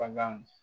Bagan